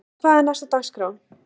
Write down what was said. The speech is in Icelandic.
En hvað er næst á dagskrá?